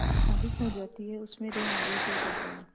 अधिक हो जाती है उसमें ॠण आवेश हो जाता है